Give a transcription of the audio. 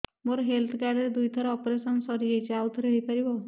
ମୋର health card ରେ ଦୁଇ ଥର ଅପେରସନ ସାରି ଯାଇଛି ଆଉ ଥର ହେଇପାରିବ